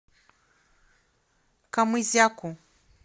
камызяку